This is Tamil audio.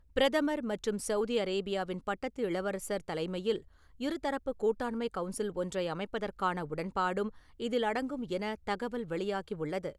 பிரதமர் மற்றும் சவுதி அரேபியாவின் பட்டத்து இளவரசர் தலைமையில் இருதரப்பு கூட்டாண்மை கவுன்சில் ஒன்றை அமைப்பதற்கான உடன்பாடும் இதில் அடங்கும் எனத் தகவல் வெளியாகியுள்ளது.